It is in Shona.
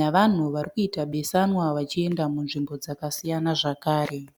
navanhu vari kuita besanwa vachienda munzvimbo dzakasiyana zvakare.